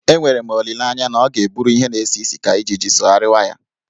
Enwere m olileanye na ọ ga-eburu ihe na-esi isi ka ijiji sogharịwa ya.